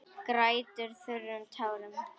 Grætur þurrum tárum.